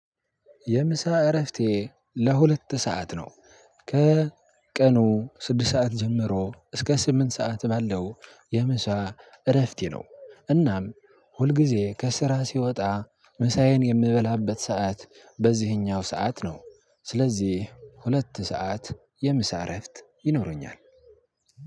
የምሳ እረፍቴ ለሁለት ሰዓት ነው። ከቀኑ ስድስት ሰዓት ጀምሮ እስከ ስምንት ሰዓት በለው የምሳ እረፍቴ ነው። እናም ሁልጊዜ ከስራ ስወጣ ምሳዬን የምበላበት ሰዓት በዚህኛው ሰዓት ነው። ስለዚህ ሁለት ሰዓት የምሳረፍት ይኖረኛል።